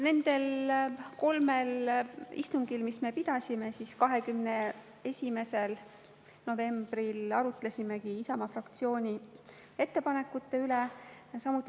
Nendest kolmest istungist, mis me pidasime, me 21. novembril arutasimegi Isamaa fraktsiooni ettepanekuid.